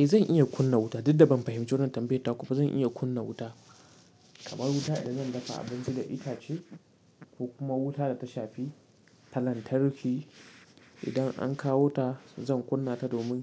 Eh zan iya kunna wuta, dudda ban fahimci wanan tambayar ta kuba zan iya kunna wuta. Kamar wuta idan zan dafa abinci da itace, ko kuma wuta da ta shafi, ta lantarki. Idan an kawo ta, zan kunna ta domin